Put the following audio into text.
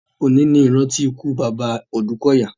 Òní ní ìrántí ikú bàbá Òdúkọ̀yà.